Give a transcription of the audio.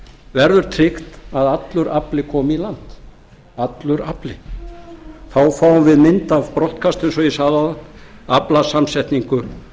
verður tryggt að allur afli komi í land þá fáum við mynd af brottkasti eins og ég sagði áðan aflasamsetningu